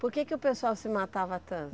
Por que que o pessoal se matava tanto?